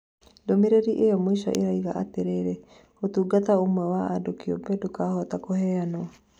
Ndũmĩrĩri iyo mũisho ĩrauga atĩrĩrĩ, ũtungata ũmwe wa andũ kĩũmbe ndũkũhota kũheanwo.